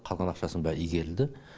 қалған ақшасының бәрі игерілді